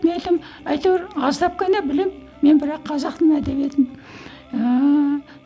мен айтамын әйтеуір аздап қана білемін мен бірақ қазақ тілін әдебиетін ііі